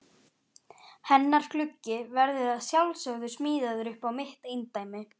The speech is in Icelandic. Hennar gluggi verður að sjálfsögðu smíðaður upp á mitt eindæmi.